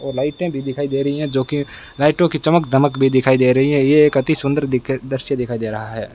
और लाइटें भी दिखाई दे रही है जो की लाइटों की चमक दमक भी दिखाई दे रही है ये एक अति सुंदर दिख दृश्य दिखाई दे रहा है।